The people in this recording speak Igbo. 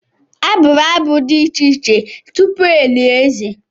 A bụrụ abụ dị iche iche tupu e lie eze.